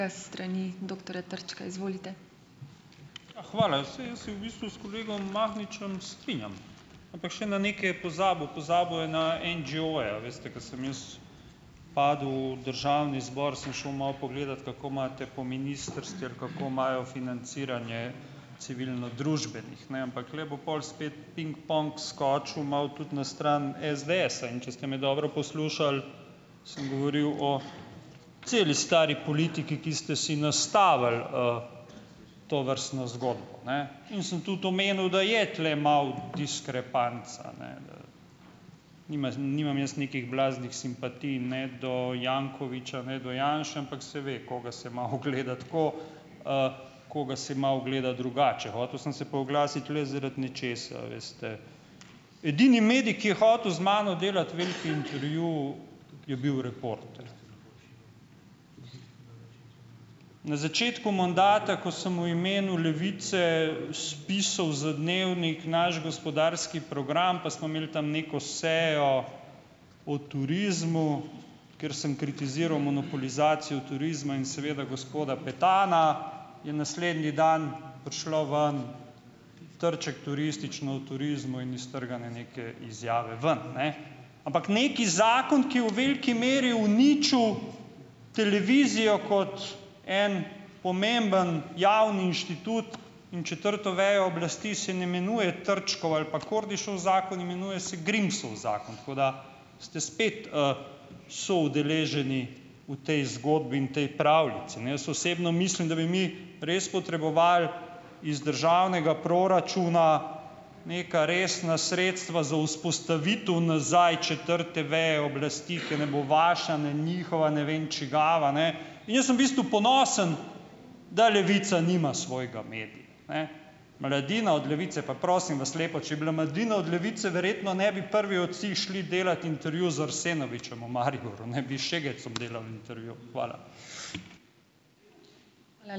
Ja, hvala, saj jaz se v bistvu s kolegom Mahničem strinjam. Ampak še na nekaj je pozabil, pozabil je na NGO-je, a veste, ko sem jaz padel v državni zbor, sem šel malo pogledat, kako imate po ministrstvih, kako imajo financiranje civilnodružbenih, ne, ampak tule bo pol spet pingpong skočil malo tudi na stran SDS-a, in če ste me dobro poslušali, sem govoril o celi stari politiki, ki ste si nastavili, tovrstno zgodbo, ne. In sem tudi omenil, da je tule malo diskrepanca, ne. nimam jaz nekih blaznih simpatij ne do Jankoviča ne do Janše, ampak se ve, koga se malo gleda tako, koga se malo gleda drugače. Hotel sem se pa oglasiti le zaradi nečesa. A veste, edini medij, ki je hotel z mano delati veliki intervju je bil Reporter. Na začetku mandata, ko sem v imenu Levice spisal za Dnevnik naš gospodarski program, pa smo imeli tam neko sejo o turizmu, ker sem kritiziral monopolizacijo turizma in seveda gospoda Petana, in naslednji dan prišlo ven, Trček turistično o turizmu in iztrgane neke izjave ven, ne. Ampak neki zakon, ki je v veliki meri uničil televizijo kot en pomemben javni inštitut in četrto vejo oblasti, se ne imenuje Trčkov ali pa Kordišev zakon, imenuje se Grimsov zakon, tako da ste spet, soudeleženi v tej zgodbi in tej pravljici, ne. Jaz osebno mislim, da bi mi res potrebovali iz državnega proračuna neka resna sredstva za vzpostavitev nazaj četrte veje oblasti, ker ne bo vaša ne njihova, ne vem čigava ne, jaz sem v bistvu ponosen, da Levica nima svojega medija, ne. Mladina od Levice, pa prosim vas lepo. Če bila Mladina od Levice, verjetno ne bi prvi od vseh šli delat intervju z Arsenovičem v Mariboru, ne, bi Šegecom delali intervju. Hvala.